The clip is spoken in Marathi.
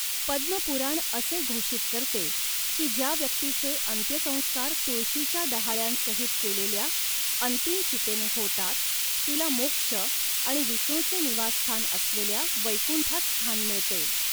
पद्म पुराण असे घोषित करते की ज्या व्यक्तीचे अंत्यसंस्कार तुळशीच्या डहाळ्यांसहित केलेल्या अंतिम चितेने होतात तिला मोक्ष आणि विष्णूचे निवासस्थान असलेल्या वैकुंठात स्थान मिळते.